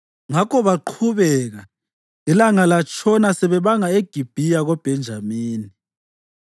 Ngakho baqhubeka, ilanga latshona sebebanga eGibhiya koBhenjamini.